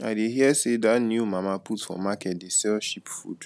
i dey hear sey dat new mama put for market dey sell cheap food